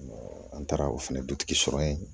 An taara o fana dutigi sɔrɔ yen